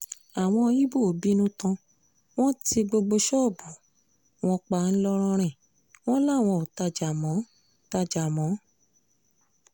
àwọn ibo bínú tán wọn tí gbogbo ṣọ́ọ̀bù wọn pa wọn làwọn ò tajà mọ́ tajà mọ́